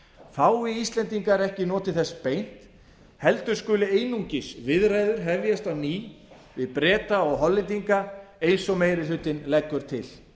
fái íslendingar ekki notið þess beint heldur skuli einungis viðræður hefjast á ný við breta og hollendinga eins og meiri hlutinn leggur til